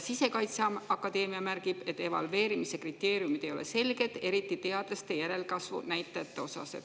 Sisekaitseakadeemia märgib, et evalveerimise kriteeriumid ei ole selged, eriti teadlaste järelkasvu näitajate osas.